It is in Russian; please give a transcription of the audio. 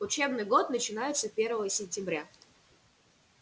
учебный год начинается первого сентября